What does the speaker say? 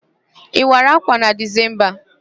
Ị wara ákwà na Dezemba?